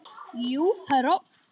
Jú, herra.